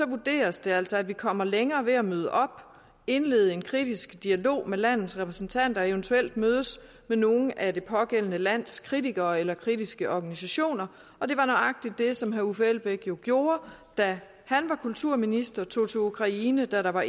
vurderes det altså at vi kommer længere ved at møde op indlede en kritisk dialog med landets repræsentanter og eventuelt mødes med nogle af det pågældende lands kritikere eller kritiske organisationer og det var nøjagtig det som herre uffe elbæk gjorde da han var kulturminister og tog til ukraine da der var